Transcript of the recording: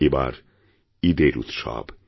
এবার ঈদের উৎসব